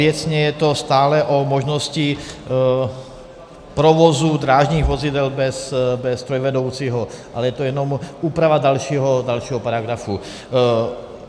Věcně je to stále o možnosti provozu drážních vozidel bez strojvedoucího, ale je to jen úprava dalšího paragrafu.